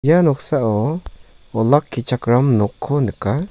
ia noksao olakkichakram nokko nika.